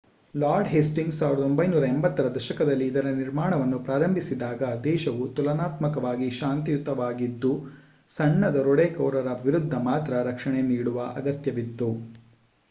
lord Hastings 1480 ರ ದಶಕದಲ್ಲಿ ಇದರ ನಿರ್ಮಾಣವನ್ನು ಪ್ರಾರಂಭಿಸಿದಾಗ ದೇಶವು ತುಲನಾತ್ಮಕವಾಗಿ ಶಾಂತಿಯುತವಾಗಿದ್ದು ಸಣ್ಣ ದರೋಡೆಕೋರರ ವಿರುದ್ಧ ಮಾತ್ರ ರಕ್ಷಣೆ ನೀಡುವ ಅಗತ್ಯವಿತ್ತು